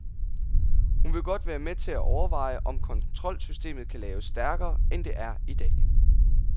Hun vil godt være med til at overveje, om kontrolsystemet kan laves stærkere, end det er i dag.